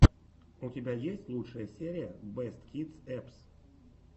у тебя есть лучшая серия бэст кидс эппс